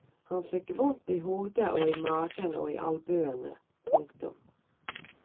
Han fikk vondt i hodet og i magen og i albuene. punktum